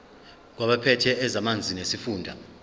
kwabaphethe ezamanzi nesifunda